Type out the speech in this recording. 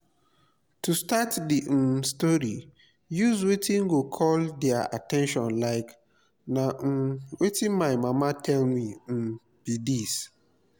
to start di um story use wetin go call their at ten tion like 'na um wetin my mama tell me um be this'